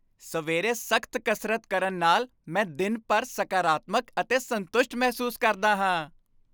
ਸਵੇਰੇ ਸਖ਼ਤ ਕਸਰਤ ਕਰਨ ਨਾਲ ਮੈਂ ਦਿਨ ਭਰ ਸਕਾਰਾਤਮਕ ਅਤੇ ਸੰਤੁਸ਼ਟ ਮਹਿਸੂਸ ਕਰਦਾ ਹਾਂ।